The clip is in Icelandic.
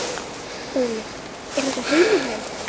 Óli: Er þetta heima hjá þér?